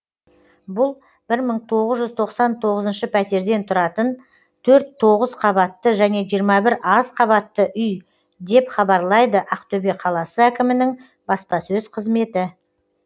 бұл бір мың тоғыз жүз тоқсан тоғызыншы пәтерден тұратын төрт тоғыз қабатты және жиырма бір аз қабатты үй деп хабарлайды ақтөбе қаласы әкімінің баспасөз қызметі